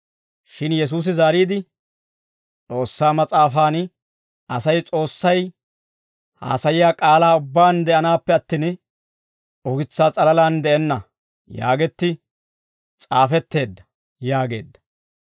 Shin Yesuusi zaariide, «S'oossaa mas'aafaan, ‹Asay S'oossay haasayiyaa k'aalaa ubbaan de'anaappe attin, ukitsaa s'alalaan de'enna› yaagetti s'aafetteedda» yaageedda.